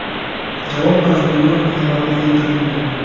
Javob mazmuni xabarda keltirilmagan.